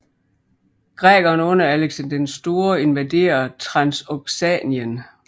Grækerne under Alexander den Store invaderer Transoxanien